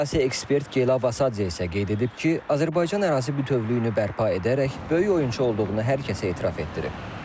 Siyasi ekspert Gela Vasadze isə qeyd edib ki, Azərbaycan ərazi bütövlüyünü bərpa edərək böyük oyunçu olduğunu hər kəsə etiraf etdirib.